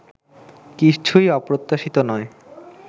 কিছুই অপ্রত্যাশিত নয়